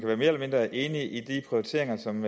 være mere eller mindre enig i de prioriteringer som